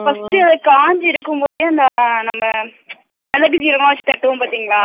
first டேஅது காஞ்சு இருக்கும்போதே அந்த நம்ம மேலகு கீர எல்லா வெச்சு தட்டுவோம் பாத்திங்களா